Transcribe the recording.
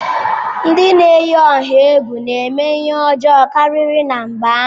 Ndị na-eyi ọha egwu na-eme ihe ọjọọ karịri na mba ahụ.